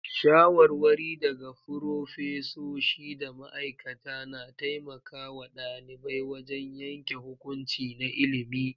Shawarwari daga furofesoshi da ma'aikata na taimaka wa ɗalibai wajen yanke hukunci na ilimi.